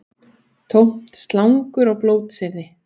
Tómt slangur og blótsyrði